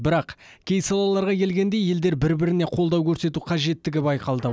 бірақ кей салаларға келгенде елдер бір біріне қолдау көрсету қажеттігі байқалды